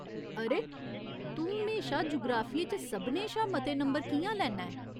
अरे, तूं म्हेशा जुगराफिये च सभनें शा मते नंबर कि'यां लैन्ना ऐं ?